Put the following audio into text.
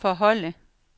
forholde